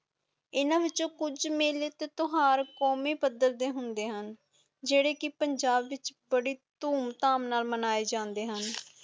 ਏਨਾ ਵਿਚ ਕੁਜ ਮੇਲੇ ਤੇ ਤਿਓਹਾਰ ਕੌਮੀ ਪਦਰਥੇ ਹੁਣ ਜੇਦੇ ਕਿ ਪੰਜਾਬ ਵਿਚ ਬੜੀ ਤੁਮ ਧਾਮ ਨਾਲ ਮਨਾਏ ਜਾਂਦੇ ਹੁਣ